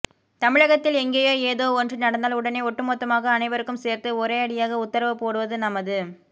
தமிழகத்தில் எங்கேயோ ஏதோ ஒன்று நடந்தால் உடனே ஒட்டுமொத்தமாக அனைவருக்கும் சேர்த்து ஒரேயடியாக உத்தரவு போடுவது நமது